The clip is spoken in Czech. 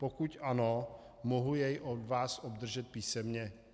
Pokud ano, mohu jej od vás obdržet písemně?